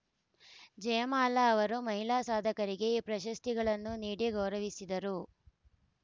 ಜಯಮಾಲಾ ಅವರು ಮಹಿಳಾ ಸಾಧಕರಿಗೆ ಈ ಪ್ರಶಸ್ತಿಗಳನ್ನು ನೀಡಿ ಗೌರವಿಸಿದರು